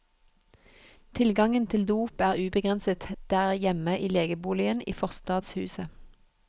Tilgangen til dop er ubegrenset der hjemme i legeboligen i forstadshuset.